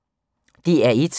DR1